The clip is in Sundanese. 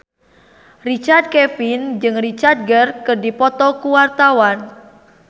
Richard Kevin jeung Richard Gere keur dipoto ku wartawan